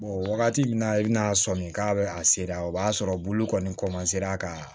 wagati min na i bɛna sɔmin k'a bɛ a sera o b'a sɔrɔ bulu kɔni ka